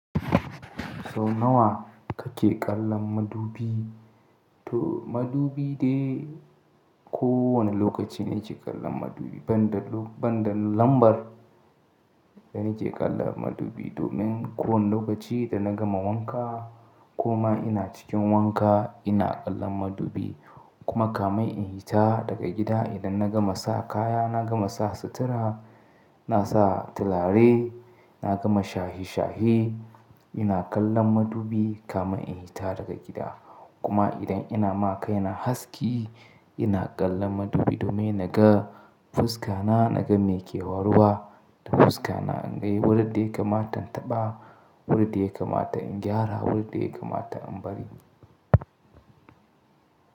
Sau nawa kake kallon madubi, to madubi dai kowanne lokaci nake kallon madubi banda lambar da nake kallon madubi domin kowanne lokaci in nagama wanka kuma ina cikin wanka ina kallon madubi kuma kamun in fita daga gida idan nagama sa kaya nagama sa sutura na sa turare na gama shahe shahe ina kallon madubi kamun in hita daga gida kuma idan ina ma kaina haski ina kallon madubi domin naga fuska na naga me ke waruwa da fuska na inga wurin da ya kamata in taɓa wurin da ya kamata in gyara wurin da ya kamata in bari.